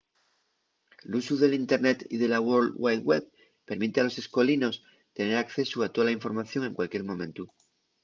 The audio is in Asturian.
l’usu del internet y de la world wide web permite a los escolinos tener accesu a tola información en cualquier momentu